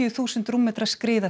þúsund rúmmetra skriða